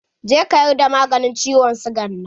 Je ka yarda maganin ciwon siga nan!